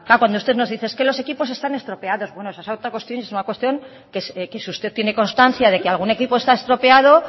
cuando usted nos dice es que los equipos están estropeados bueno es otra cuestión es una cuestión que si usted tiene constancia de que algún equipo está estropeado